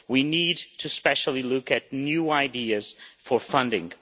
We need especially to look at new ideas for funding.